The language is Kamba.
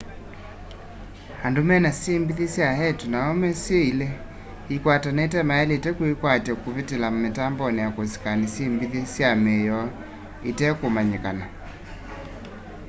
andũ mena syĩmbithi sya eetũ na aũme syĩ ilĩ ikwatene mayaĩlĩte kwĩkatya kũvĩtĩla mitambonĩ ya kusikani syĩmbĩthe sya mĩĩ yoo itekũmanyĩkana